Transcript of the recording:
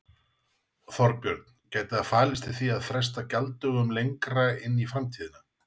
Þorbjörn: Gæti það falist í því að fresta gjalddögunum lengra inn í framtíðina?